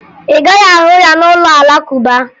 Ị gaghị ahụ ya n'ụlọ Alakụba